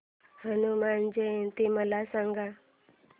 हनुमान जयंती मला सांगा